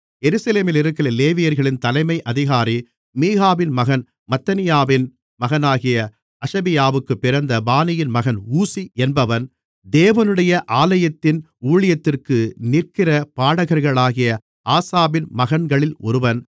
எருசலேமிலிருக்கிற லேவியர்களின் தலைமை அதிகாரி மீகாவின் மகன் மத்தனியாவின் மகனாகிய அஷபியாவுக்குப் பிறந்த பானியின் மகன் ஊசி என்பவன் தேவனுடைய ஆலயத்தின் ஊழியத்திற்கு நிற்கிற பாடகர்களாகிய ஆசாபின் மகன்களில் ஒருவன்